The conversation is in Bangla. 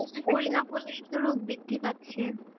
করি না বলেই তো রোগ বৃদ্ধি পাচ্ছে।